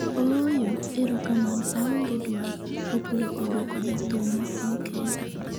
ooyo, erokamano aonge dwaro ', Opolo oduoko jathum ma piny Kenya